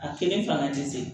A kelen fanga tɛ se